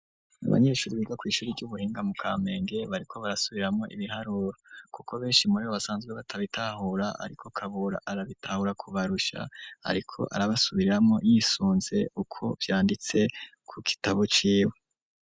Abanyeshuri, biga kw'ishuri ry'ubuhinga, mu Kamenge, bariko barasubiramwo ibiharuro; kuko, benshi muri bo, basanzwe batabitahura, ariko Kabura, arabitahura kubarusha; ariko arabasubiriramwo, yisunze uko vyanditse, ku gitabo ciwe.